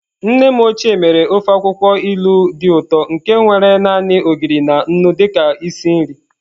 Nne m ochie mere ofe akwụkwọ ilu dị ụtọ nke nwere naanị Ogiri na nnu dị ka isi nri.